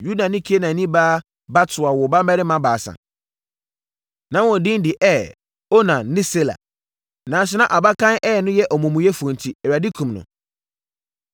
Yuda ne Kanaanni baa Bat-Sua woo mmammarima baasa. Na wɔn din de Er, Onan ne Sela. Nanso, na abakan Er no yɛ omumuyɛfoɔ enti, Awurade kumm no.